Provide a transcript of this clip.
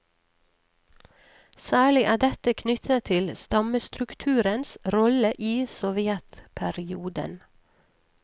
Særlig er dette knyttet til stammestrukturens rolle i sovjetperioden.